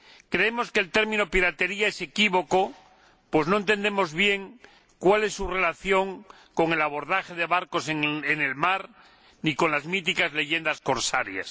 Creemos que el término piratería es equívoco, pues no entendemos bien cuál es su relación con el abordaje de barcos en el mar ni con las míticas leyendas corsarias.